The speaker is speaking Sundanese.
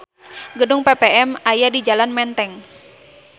Gedung PPM aya di jalan Menteng